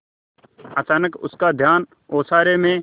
अचानक उसका ध्यान ओसारे में